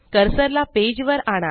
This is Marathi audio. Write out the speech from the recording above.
कर्सर ला पेज वर आणा